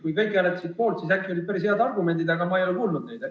Kui kõik hääletasid poolt, siis äkki olid päris head argumendid, aga ma ei ole kuulnud neid.